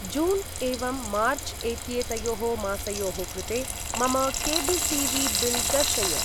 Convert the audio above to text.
जून् एवं मार्च् एत्येतयोः मासयोः कृते मम केब्ल् टी.वी.बिल् दर्शय।